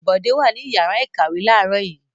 Bọ̀dé wà ní ìyàrá-ìkàwé láàárọ̀ yìí?